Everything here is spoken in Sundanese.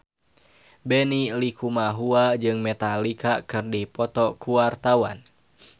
Benny Likumahua jeung Metallica keur dipoto ku wartawan